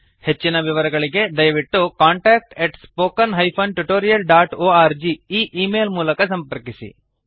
ಹೆಚ್ಚಿನ ವಿವರಗಳಿಗೆ ದಯವಿಟ್ಟು contactspoken tutorialorg ಈ ಈ ಮೇಲ್ ಮೂಲಕ ಸಂಪರ್ಕಿಸಿ